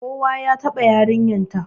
Kowa ya taɓa yaranta